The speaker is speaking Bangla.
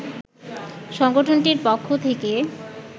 সংগঠনটির পক্ষ থেকে